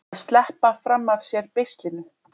Að sleppa fram af sér beislinu